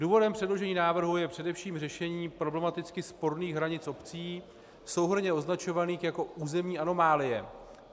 Důvodem předložení návrhu je především řešení problematicky sporných hranic obcí souhrnně označovaných jako územní anomálie.